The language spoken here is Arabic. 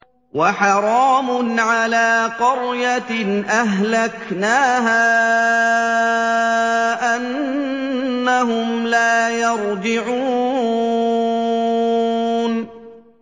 وَحَرَامٌ عَلَىٰ قَرْيَةٍ أَهْلَكْنَاهَا أَنَّهُمْ لَا يَرْجِعُونَ